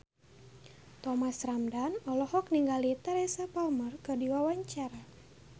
Thomas Ramdhan olohok ningali Teresa Palmer keur diwawancara